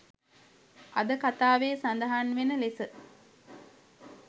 අද කතාවේ සදහන් වෙන ලෙස